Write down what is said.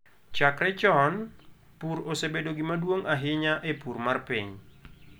Chakre chon, pur osebedo gima duong' ahinya e pur mar piny.